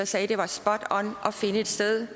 sagde at det var spot on at finde et sted